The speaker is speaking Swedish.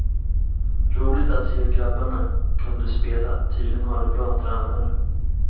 Roligt att se hur grabbarna kunde spela, tydligen har de bra tränare.